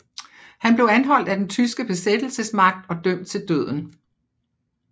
Han blev anholdt af den tyske besættelsesmagt og dømt til døden